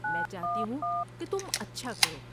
میں چاہتی ہوں کہ تم اچھا کرو۔